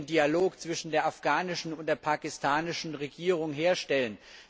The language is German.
Wie wollen wir den Dialog zwischen der afghanischen und der pakistanischen Regierung herstellen?